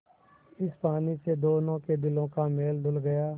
इस पानी से दोनों के दिलों का मैल धुल गया